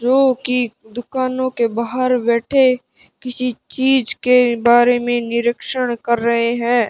जो की दुकानों के बाहर बैठे किसी चीज के बारे में निरीक्षण कर रहे हैं।